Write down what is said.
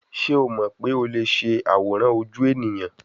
Ṣe o mọ pe o le ṣe aworan oju eniyan